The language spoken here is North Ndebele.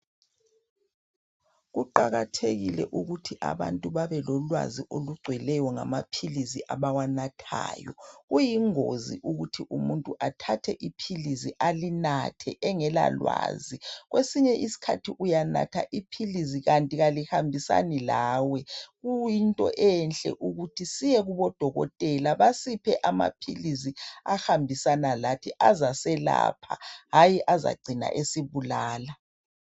Kuqakathekile ukuthi abantu babelolwazi olugcweleyo ngamaphilizi abawanathayo. Kuyingozi ukuthi umuntu athathe iphilizi alinathe engela lwazi. Kwesinye isikhathi uyanatha iphilizi kanti kalihambisani lawe kuyinto enhle ukuthi siyekubodokotela basiphe amaphilizi ahambisana lathi azaselapha hatshi hayi azacina esibulala.